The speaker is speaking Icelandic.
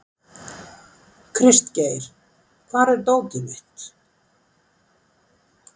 Kristgeir, hvar er dótið mitt?